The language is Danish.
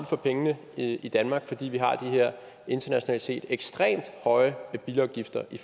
for pengene i danmark fordi vi har de her internationalt set ekstremt høje bilafgifter i